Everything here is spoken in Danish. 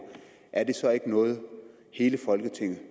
er det så ikke noget hele folketinget